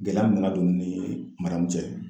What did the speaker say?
Gɛlɛya min bɛ ka don ni maamu cɛ